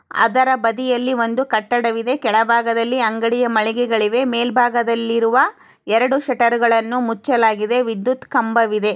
ಅದ್ರ ಬದಿಯಲ್ಲಿ ಒಂದು ಕಟ್ಟಡ ಇದೆ ಕೆಳ ಭಾಗದಲ್ಲಿ ಅಂಗಡಿಯ ಮಳೆಗೆಗಳು ಇವೆ ಮೇಲೆ ಭಾಗದಲ್ಲಿ ಇರುವ ಎರೆಡು ಶಟರಗಳನು ಮುಚ್ಚಲಾಗಿದೆ ವಿದ್ಯುತ ಕಂಬ ವಿದೆ